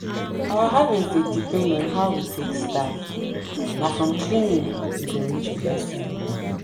our harvest dey depend on how we take start na from cleaning we go reach blessing.